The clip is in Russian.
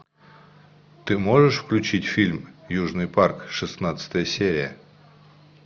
ты можешь включить фильм южный парк шестнадцатая серия